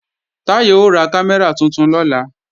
Táyọ̀ ó ra kámẹ́rà tuntun lọ́la